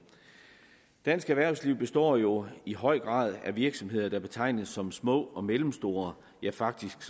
dansk erhvervsliv består jo i høj grad af virksomheder der betegnes som små og mellemstore ja faktisk